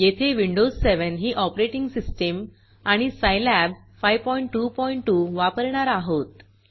येथे विंडोज 7 ही operating system आणि सायलॅब 522 वापरणार आहोत